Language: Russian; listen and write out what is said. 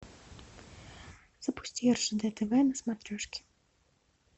запусти ржд тв на смотрешке